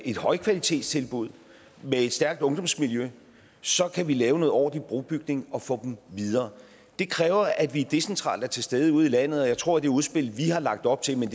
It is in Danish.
et højkvalitetstilbud med et stærkt ungdomsmiljø så kan vi lave noget ordentlig brobygning og få dem videre det kræver at vi decentralt er til stede ude i landet og jeg tror at det udspil vi har lagt op til men